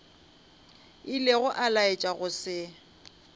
ilego a laetša go se